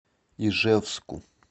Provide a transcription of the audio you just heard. ижевску